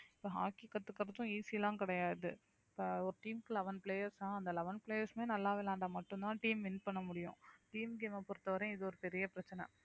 இப்போ hockey கத்துக்கறதும் easy எல்லாம் கிடையாது இப்ப ஒரு team க்கு eleven players தான் அந்த eleven players மே நல்லா விளையாண்டா மட்டும்தான் team win பண்ண முடியும் team game அ பொறுத்தவரை இது ஒரு பெரிய பிரச்சனை